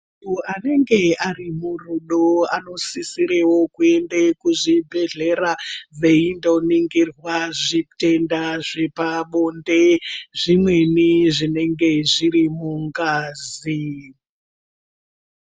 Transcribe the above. Anenge ari murudo anosisirewo kuende kuzvibhedhleya veindoningirwa zvitenda zvepabonde zvimweni zvinenge zviri mungazi.